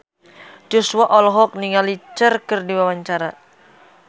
Joshua olohok ningali Cher keur diwawancara